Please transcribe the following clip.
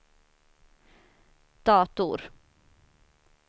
dator